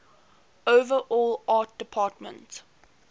overall art department